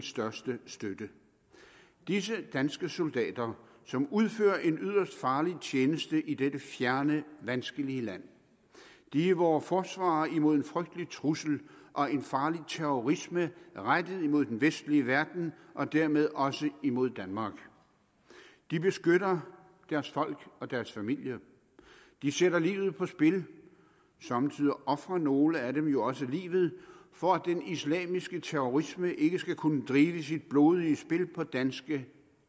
største støtte disse danske soldater som udfører en yderst farlig tjeneste i dette fjerne vanskelige land er vore forsvarere imod en frygtelig trussel og en farlig terrorisme rettet mod den vestlige verden og dermed også imod danmark de beskytter deres folk og deres familie de sætter livet på spil og somme tider ofrer nogle af dem jo også livet for at den islamiske terrorisme ikke skal kunne drive sit blodige spil på danske